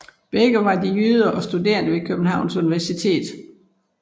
Begge var de jyder og studerende ved Københavns Universitet